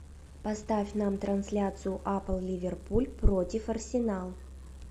поставь нам трансляцию апл ливерпуль против арсенал